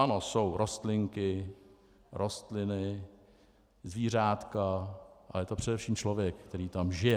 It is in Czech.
Ano, jsou rostlinky, rostliny, zvířátka, ale je to především člověk, který tam žije.